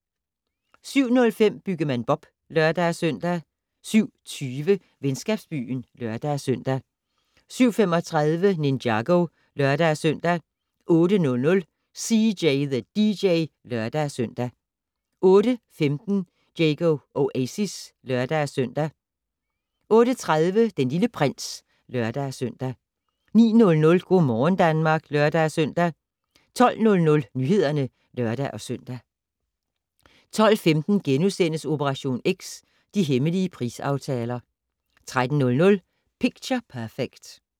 07:05: Byggemand Bob (lør-søn) 07:20: Venskabsbyen (lør-søn) 07:35: Ninjago (lør-søn) 08:00: CJ the DJ (lør-søn) 08:15: Diego Oasis (lør-søn) 08:30: Den Lille Prins (lør-søn) 09:00: Go' morgen Danmark (lør-søn) 12:00: Nyhederne (lør-søn) 12:15: Operation X: De hemmelige prisaftaler * 13:00: Picture Perfect